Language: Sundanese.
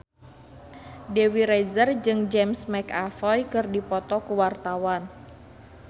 Dewi Rezer jeung James McAvoy keur dipoto ku wartawan